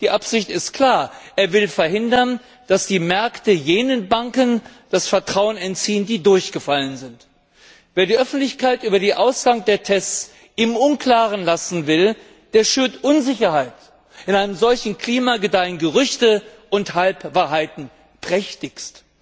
Die Absicht ist klar Er will verhindern, dass die Märkte jenen Banken, die durchgefallen sind, das Vertrauen entziehen. Wer die Öffentlichkeit über den Ausgang der Tests im Unklaren lassen will, der schürt Unsicherheit. In einem solchen Klima gedeihen Gerüchte und Halbwahrheiten prächtigst.